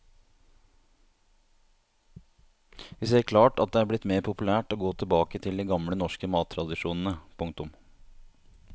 Vi ser klart at det er blitt mer populært å gå tilbake til de gamle norske mattradisjonene. punktum